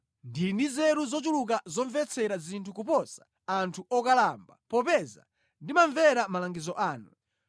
Ndili ndi nzeru zochuluka zomvetsera zinthu kuposa anthu okalamba, popeza ndimamvera malangizo anu.